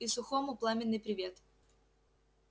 и сухому пламенный привет